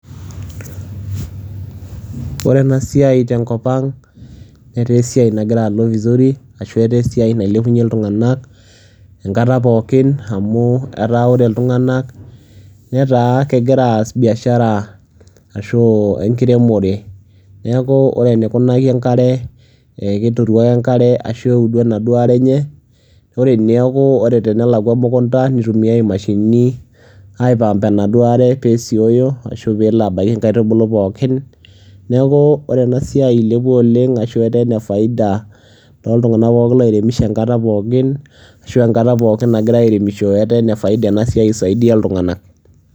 ore ena siai tenkop ang netaa esiiai nagira alo vizuri ashu etaa esiiai nailepunye iltunganak enkata ppookin amu etaa ore iltunganak, netaa kegira aasa biashara ashu, enkiremore. neeku ore eneikuaki enkare, keturu ake enkare, ashu eudu enaduoo are enye, ore eneku, ene laku emukta, nitumiae imashinini, ai pump enaduoo are [ee esioyo, ashu pee elo abaiki inkaitubulu pookin, neeku ore ena siai ilepua oleng ashu etaa ene faida tooltungank pookin loiremisho enkata pookin ashu enakta pookin nagirae airemisho etaa ene faida ena siai isaidia ilunganak.